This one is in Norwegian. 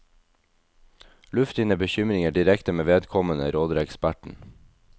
Luft dine bekymringer direkte med vedkommende, råder eksperten.